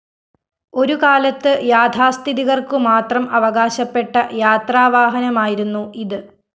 ഒരുകാലത്ത് യാഥാസ്ഥിതികര്‍ക്കുമാത്രം അവകാശപ്പെട്ട യാത്രാവാഹനമായിരുന്നു ഇത്